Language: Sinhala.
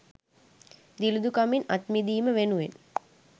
දිළිදුකමින් අත්මිදීම වෙනුවෙන්